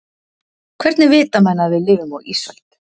Hvernig vita menn að við lifum á ísöld?